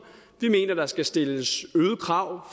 vi mener der skal stilles øgede krav